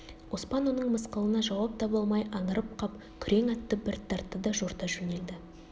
оспан оның мысқылына жауап таба алмай аңырып қап күрең атты бір тартты да жорта жөнелді